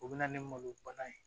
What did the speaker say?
O bɛ na ni malo bana ye